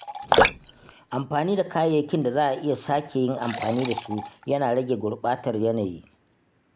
Amfani da kayayyakin da za a iya sake yin amfani da su yana rage gurɓatar yanayi